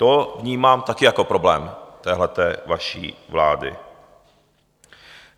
To vnímám taky jako problém téhleté vaší vlády.